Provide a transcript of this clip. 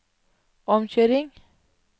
omkjøring